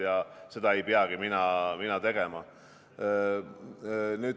Aga seda ei peagi mina tegema.